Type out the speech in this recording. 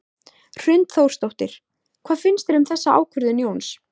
Hrund Þórsdóttir: Hvað finnst þér um þessa ákvörðun Jóns?